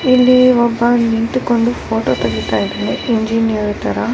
ಇಲ್ಲಿ ಒಬ್ಬ ನಿಂತುಕೊಂಡು ಫೋಟೋ ತೆಗಿತಾ ಇದ್ದಾನೆ ಇಂಜಿನಿಯರ್ ತರಾ .